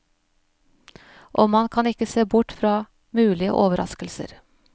Og man kan ikke se bort fra mulige overraskelser.